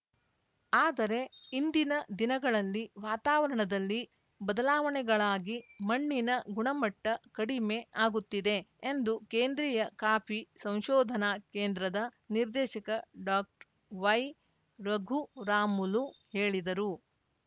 ಆದರೆ ಇಂದಿನ ದಿನಗಳಲ್ಲಿ ವಾತಾವರಣದಲ್ಲಿ ಬದಲಾವಣೆಗಳಾಗಿ ಮಣ್ಣಿನ ಗುಣಮಟ್ಟಕಡಿಮೆ ಆಗುತ್ತಿದೆ ಎಂದು ಕೇಂದ್ರೀಯ ಕಾಫಿ ಸಂಶೋಧನಾ ಕೇಂದ್ರದ ನಿರ್ದೇಶಕ ಡಾಕ್ಟ್ ವೈರಘುರಾಮುಲು ಹೇಳಿದರು